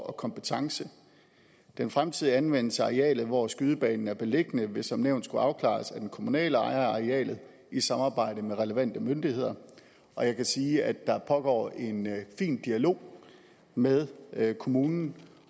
og kompetence den fremtidige anvendelse af arealet hvor skydebanen er beliggende vil som nævnt skulle afklares af den kommunale ejer af arealet i samarbejde med relevante myndigheder og jeg kan sige at der pågår en fin dialog med med kommunen